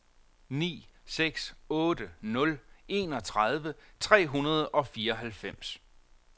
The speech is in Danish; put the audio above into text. ni seks otte nul enogtredive tre hundrede og fireoghalvfems